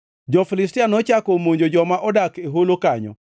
Jo-Filistia nochako omonjo joma odak e holo kanyo,